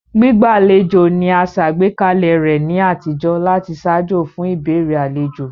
Gbígbàlejò ni a sàgbékalẹ̀ rẹ ni àtijó láti ṣaajo fun ìbéèrè alejo.